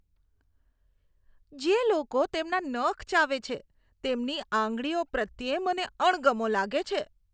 જે લોકો તેમના નખ ચાવે છે તેમની આંગળીઓ પ્રત્યે મને અણગમો લાગે છે.